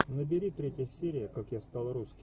набери третья серия как я стал русским